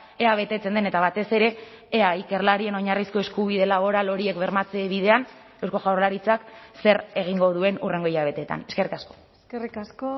ea betetzen den eta batez ere ea ikerlarien oinarrizko eskubide laboral horiek bermatze bidean eusko jaurlaritzak zer egingo duen hurrengo hilabeteetan eskerrik asko eskerrik asko